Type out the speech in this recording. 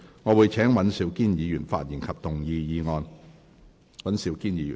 我請尹兆堅議員發言及動議議案。